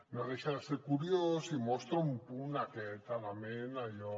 no deixa de ser curiós i mostra un punt aquest element allò